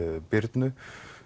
Birnu